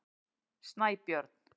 Snæbjörn